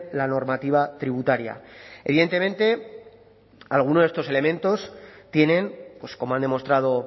la normativa tributaria evidentemente algunos de estos elementos tienen como han demostrado